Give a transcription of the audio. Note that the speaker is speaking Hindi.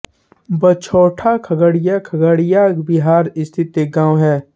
बछौटा खगड़िया खगड़िया बिहार स्थित एक गाँव है